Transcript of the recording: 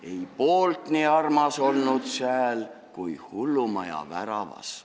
Ei poolt nii armas olnud sääl kui hullumaja väravas.